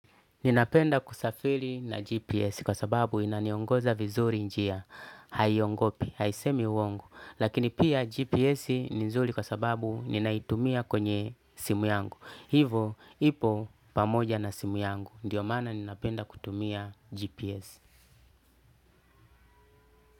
Ninapenda kusafili na GPS kwa sababu inaniongoza vizuri njia, haiongopi, haisemi uongo, lakini pia GPS ni nzuri kwa sababu ninaitumia kwenye simu yangu. Hivo ipo pamoja na simu yangu, ndio maana ninapenda kutumia GPS.